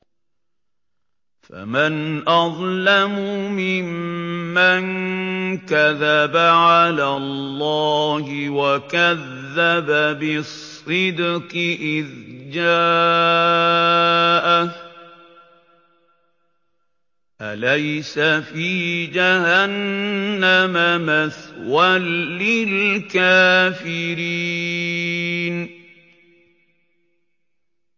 ۞ فَمَنْ أَظْلَمُ مِمَّن كَذَبَ عَلَى اللَّهِ وَكَذَّبَ بِالصِّدْقِ إِذْ جَاءَهُ ۚ أَلَيْسَ فِي جَهَنَّمَ مَثْوًى لِّلْكَافِرِينَ